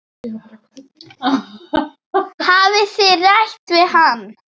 Hafið þið rætt við hann?